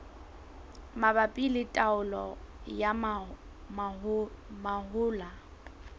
mabapi le taolo ya mahola